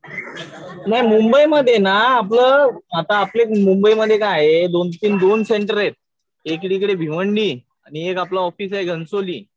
नाही मुंबई मध्ये ना आपलं आता आपली मुंबई मध्ये काय आहे दोन-तीन दोन सेंटर आहेत. एकीकडे भिवंडी आणि एक आपलं ऑफिस आहे घणसोली.